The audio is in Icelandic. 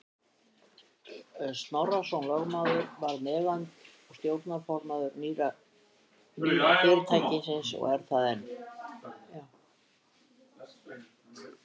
Snorrason lögmaður varð meðeigandi og stjórnarformaður nýja fyrirtækisins og er það enn.